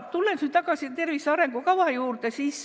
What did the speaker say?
Tulen tagasi tervise arengukava juurde.